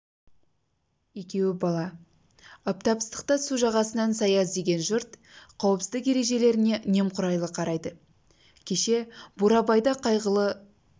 екеуі бала аптап ыстықта су жағасынан сая іздеген жұрт қауіпсіздік ережелеріне немқұрайлы қарайды кеше бурабайда қайғылы